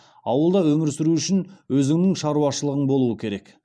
ауылда өмір сүру үшін өзіңнің шаруашылығың болуы керек